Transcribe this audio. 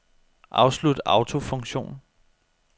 Afslut autofunktion.